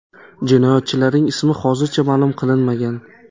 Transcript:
Jinoyatchilarning ismi hozircha ma’lum qilinmagan.